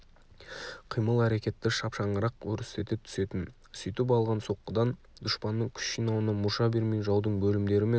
қимыл-әрекетті шапшаңырақ өрістете түсетін сөйтіп алған соққыдан дұшпанның күш жинауына мұрша бермей жаудың бөлімдері мен